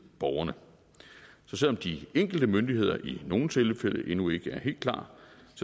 borgerne så selv om de enkelte myndigheder i nogle tilfælde endnu ikke er helt klar